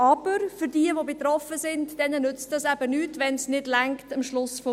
Aber denen, die betroffen sind, nützt das eben nichts, wenn es am Ende des Monats nicht reicht.